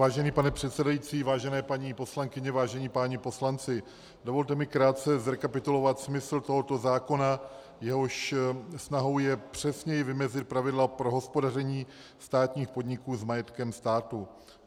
Vážený pane předsedající, vážené paní poslankyně, vážení páni poslanci, dovolte mi krátce zrekapitulovat smysl tohoto zákona, jehož snahou je přesněji vymezit pravidla pro hospodaření státních podniků s majetkem státu.